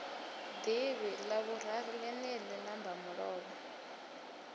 ḓivhi ḽavhuraru ḽeneḽi ḽa mbamulovha